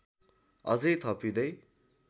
अझै थपिँदै